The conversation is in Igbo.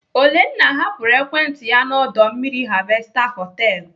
Olenna hapụrụ ekwentị ya na ọdọ mmiri Harvester họtelu.